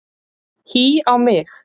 Hí á mig!